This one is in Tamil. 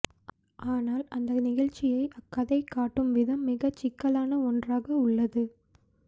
ஆனால் அந்த நிகழ்ச்சியை அக்கதை காட்டும் விதம் மிக சிக்கலான ஒன்றாக உள்ளது